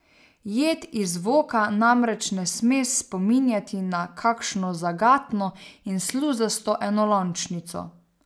Jed iz voka namreč ne sme spominjati na kakšno zagatno in sluzasto enolončnico.